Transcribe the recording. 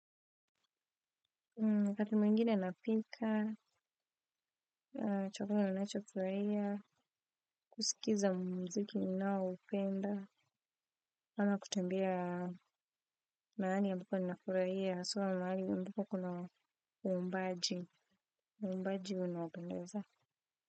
Wakati mwingine napika, chakula ninacho furahia, kusikiza mziki ninao upenda, ama kutembea mahali ambapo ninafurahia, haswaa mahali ambuko kuna umbaji, umbaji unabendeza.